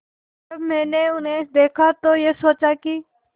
जब मैंने उन्हें देखा तो ये सोचा कि